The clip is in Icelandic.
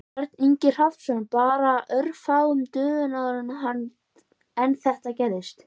Björn Ingi Hrafnsson: Bara örfáum dögum áður en þetta gerðist?